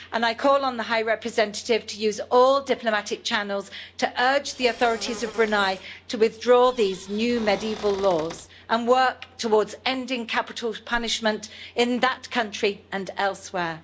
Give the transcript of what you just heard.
I call on the High Representative to use all diplomatic channels to urge the authorities of Brunei to withdraw these new medieval laws and work towards ending capital punishment in that country and elsewhere.